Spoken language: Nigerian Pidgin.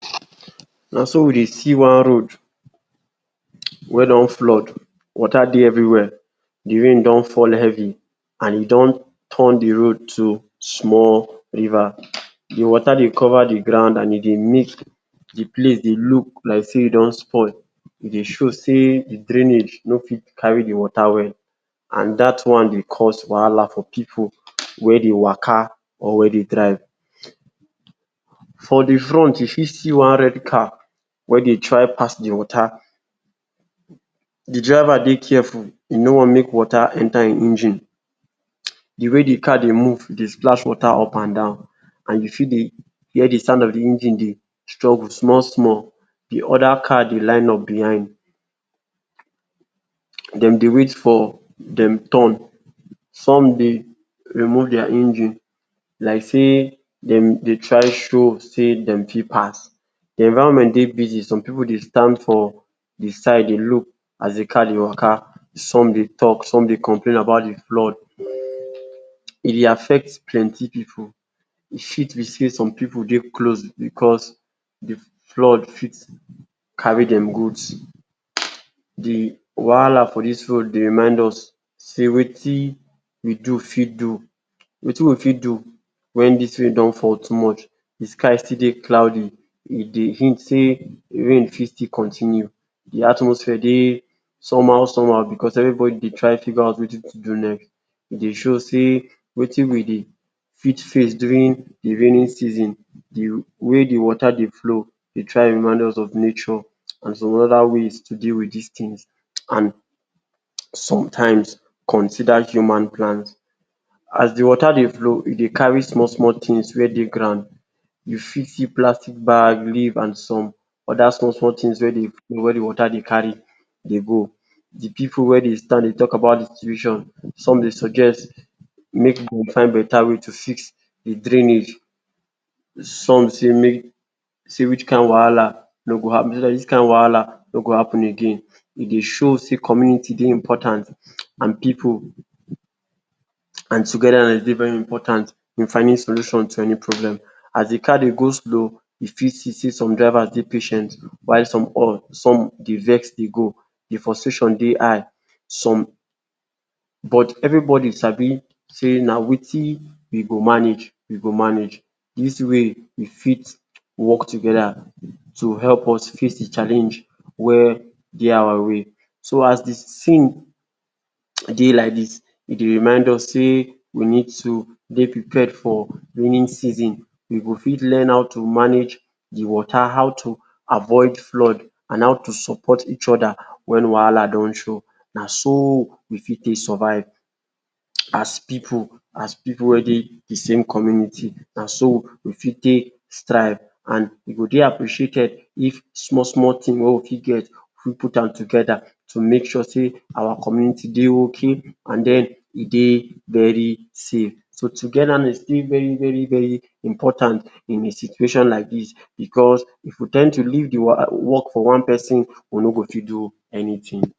Naso we dey see one road wey don flood, water dey everywhere de rain don fall heavy and e don turn de road to small river. De water dey cover de ground and e dey make de place look like sey e don spoil, e dey show sey de drainage no fit carry de water well and dat one dey cause wahala for pipu wey dey waka or wey dey drive. For de front you fit see one red car wey dey try pass de water, de driver dey careful e no want make de water enter ein engine, de way de car dey move splash water up and down and you fit dey hear de sound of de engine dey struggle small small. De other car dey line up behind dem dey wait for dem turn. Some dey remove their engine like sey dem dey try show sey dem fit pass. De environment dey busy, some pipu dey stand for de side, dey look as de car dey waka. Some dey talk, some dey complain about de flood. E dey affect plenty pipu. E fit be sey some pipu dey close because de flood fit carry dem goods. De wahala for dis road dey remind us sey wetin we do fit do wetin we fit do when dis rain don't fall too much. De sky still dey cloudy, e dey hint sey rain fit still continue. De atmosphere dey somehow somehow because everybody dey try figure out wetin to do next. E dey show sey wetin we dey fit face during de raining season. De way de water dey flow dey try remind us of nature and some other ways to deal with dis things. And sometimes, consider human plans as de water dey flow. You dey carry small small things wey dey ground. You fit see plastic bag, leaf and some other small small things wey dey wey de water dey carry dey go. De pipu wey dey stand dey talk about de situation, some dey suggest make pipu find better way to fix de drainage. Some sey make sey which kind wahala no go um wahala no go happen again. E dey show sey community dey important um and pipu and togetherness dey very important in finding solution to any problem. As de car dey go slow, you fit see sey some drivers dey patient, while some um some dey vex dey go. De frustration dey high, some but everybody sabi sey na wetin we go manage, we go manage dis way, we fit work together to help us face de challenge where dey our way. So as de thing[um] dey like dis, e dey remind us sey we need to dey prepared for raining season. We go fit learn how to manage de water, how to avoid flood, and how to support each other when wahala don show. Na so we fit take survive as pipu, as pipu wey dey de same community. Na so we fit take strive, and e go dey appreciated if small small thing wey we fit get, we put dem together to make sure sey our community dey okay, and den e dey very safe. So, Togetherness dey very very very important in a situation like dis, because if we ten d to leave de work for one person, we no go fit do anything.